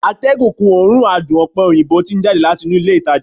atégùn kun òórùn adùn òpe òyìnbó ti n jade lati inu ilé ìtajà